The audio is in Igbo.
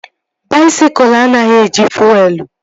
Baisikụl anaghị eji fuelu